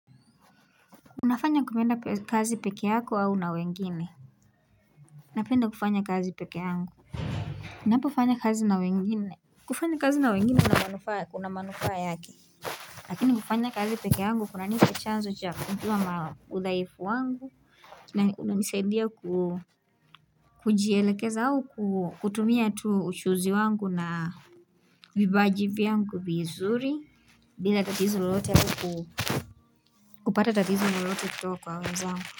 Unafanya kumenda kazi pekee yako au na wengine Napenda kufanya kazi pekee yangu Napofanya kazi na wengine kufanya kazi na wengine kuna kunamanufaa yake Lakini kufanya kazi pekee yangu kunapita chanzo cha kujuwa ma udhaifu wangu na hunanisaidia ku Kujielekeza au ku kutumia tuu uchuzi wangu na Vibaji vyangu vizuri bila tatizo lolote ku kupata tatizo lolote kutoka kwa wenzangu.